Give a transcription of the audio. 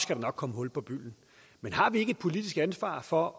der nok komme hul på bylden men har vi ikke et politisk ansvar for